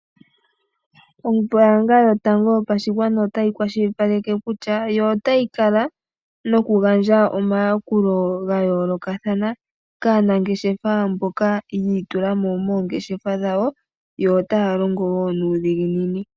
Ombaanga yotango yopashigwana otayi kwashilipaleke kutya yo otayi kala noku gandja omayakulo ga yoolokathana kaanangeshefa mboka yi itulamo moongeshefa dhawo yo otaya longo woo nuudhiginini